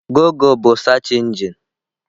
Gụgle bụ search engine.